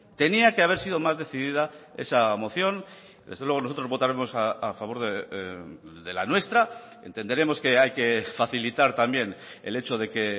tenía que haber sido más decidida esa moción desde luego nosotros votaremos a favor de la nuestra entenderemos que hay que facilitar también el hecho de que